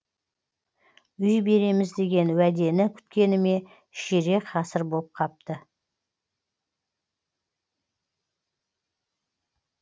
үй береміз деген уәдені күткеніме ширек ғасыр боп қапты